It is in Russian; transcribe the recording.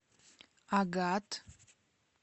агат